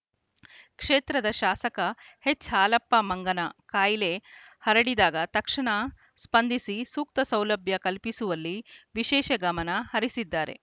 ಕ್ಷೇತ್ರದ ಶಾಸಕ ಎಚ್‌ಹಾಲಪ್ಪ ಮಂಗನ ಕಾಯಿಲೆ ಹರಡಿದಾಗ ತಕ್ಷಣ ಸ್ಪಂದಿಸಿ ಸೂಕ್ತ ಸೌಲಭ್ಯ ಕಲ್ಪಿಸುವಲ್ಲಿ ವಿಶೇಷ ಗಮನ ಹರಿಸಿದ್ದಾರೆ